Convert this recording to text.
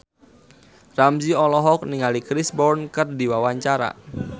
Ramzy olohok ningali Chris Brown keur diwawancara